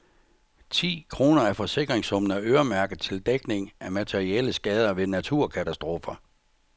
Ti kroner af forsikringssummen er øremærket til dækning af materielle skader ved naturkatastrofer.